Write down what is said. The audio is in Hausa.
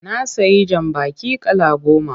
Na sayi jambaki kala goma.